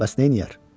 Bəs nə eləyər?